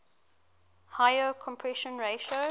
higher compression ratio